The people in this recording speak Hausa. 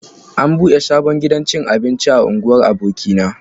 An buɗe sabon gidan cin abinci a unguwar abokina